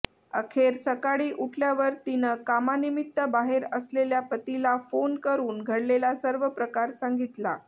अखेर सकाळी उठल्यावर तिनं कामानिमित्त बाहेर असलेल्या पतीला फोन करून घडलेला सर्व प्रकार सांगितला